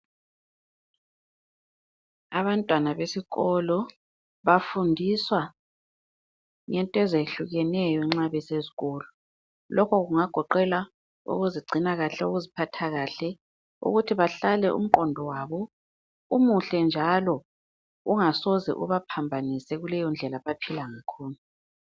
Abantwana besikolo, bafundiswa ngento ezehlukeneyo nxa besesikolo. Lokho kungagoqela ukuzigcina kahle, ukuziphatha kahle. Ukuthi bahlale umqondo wabo umuhle njalo ungasoze ubaphambanise kuleyondlela abaphila ngakhona